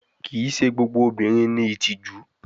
Kii ṣe gbogbo awọn obinrin ni itiju